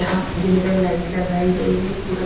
यहां जिनपर लाइट लगाई गई है पूरा--